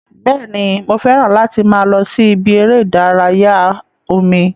Bẹ́ẹ̀ni, mo fẹ́ràn láti máa lọ sí ibi eré ìdárayá omi